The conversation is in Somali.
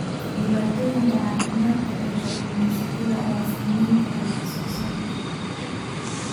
Dhibaatooyinka caafimaadka ee kalluumaysatada ayaa saameyn kara wax soo saarka.